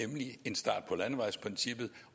ministeren